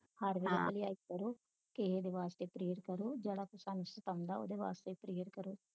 ਹਰ ਵੇਲੇ ਭਲਾਈ ਕਰੋ ਕਿਹੇ ਦੇ ਵਾਸਤੇ prayer ਕਰੋ ਜਾਂ ਸਾਨੂੰ ਸਤਾਉਣਾ ਉਸ ਵਾਸਤੇ prayer ਕਰੋ